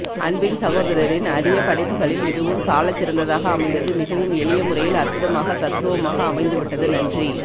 அன்பின் சகோதரரின் அரிய படைப்புகளில் இதுவும் சாலச்சிறந்ததாக அமைந்தது மிகவும் எளிய முறையில் அற்புதமாக தத்துருவமாக அமைந்து விட்டது நன்றி